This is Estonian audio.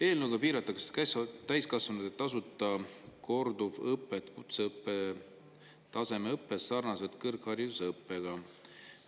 Eelnõuga piiratakse täiskasvanute tasuta korduvõpet kutseõppe tasemeõppes sarnaselt kõrgharidusõppega.